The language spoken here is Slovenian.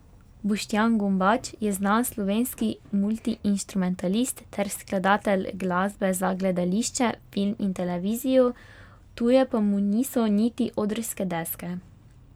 Boštjan Gombač je znan slovenski multiinštrumentalist ter skladatelj glasbe za gledališče, film in televizijo, tuje pa mu niso niti odrske deske.